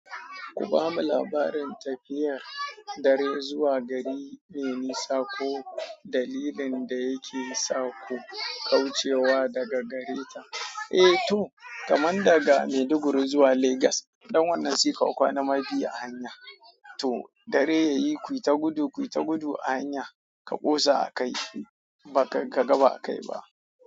Kubamu labarin tafiya dare zuwa gari mai nisa ko dalilin daya kesa ku kaucewa daga gareta. Eh to kaman daga Maiduguri zuwa Legas, dan wannan saika kwana ma biyu a hanya. To dare yayi kuyita gudu, kuyita gudu ahanya ka kosa akai kaga ba akai ba.